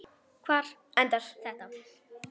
Hvar endar þetta?